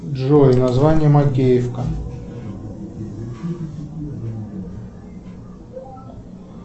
джой название макеевка